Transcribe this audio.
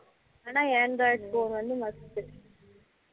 ஆனா android phone வந்து must